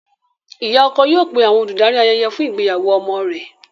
Ìyá ọkọ yóò pé àwọn olùdarí ayẹyẹ fún ìgbéyàwó ọmọ rẹ̀.